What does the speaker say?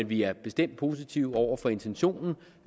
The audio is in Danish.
vi er bestemt positive over for intentionen